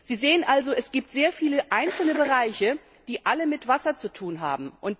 Sie sehen also, es gibt sehr viele einzelne Bereiche, die alle mit Wasser zu tun haben.